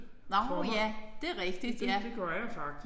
Nåh ja! Det er rigtigt ja